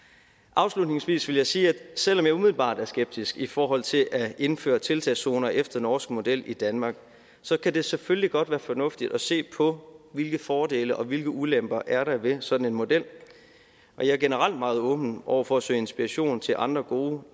afslutningsvis vil jeg sige at selv om jeg umiddelbart er skeptisk i forhold til at indføre tiltagszoner efter norsk model i danmark så kan det selvfølgelig godt være fornuftigt at se på hvilke fordele og hvilke ulemper der er ved sådan en model og jeg er generelt meget åben over for at søge inspiration til andre gode